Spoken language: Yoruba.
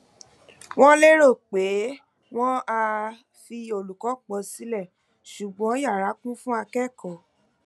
wọn lérò pé wọn á um fi olùkọ pọ sílẹ ṣùgbọn yara kún fún akẹkọọ